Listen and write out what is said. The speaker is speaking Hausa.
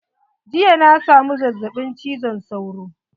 Jiya na samu zazzaɓin cizon sauro.